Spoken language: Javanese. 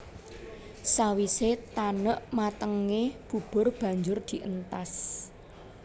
Sawisé tanek matengé bubur banjur dientas